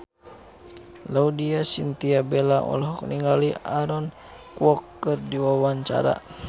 Laudya Chintya Bella olohok ningali Aaron Kwok keur diwawancara